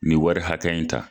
U ye wari hakɛ in ta.